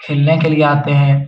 खेलने के लिए आते हैं।